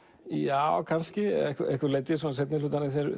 já kannski að einhverju leyti í seinni hluta